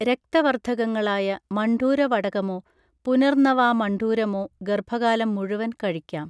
രക്തവർധകങ്ങളായ മണ്ഡൂരവടകമോ പുനർന്നവാമണ്ഡൂരമോ ഗർഭകാലം മുഴുവൻ കഴിക്കാം